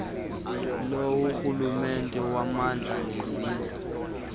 lorhulumente wommandla nezezindlu